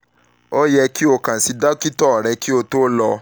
o yẹ ki o kan si dokita rẹ ki o lọ fun fifọ ati isunmọ